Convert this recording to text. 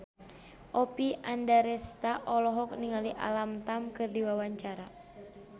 Oppie Andaresta olohok ningali Alam Tam keur diwawancara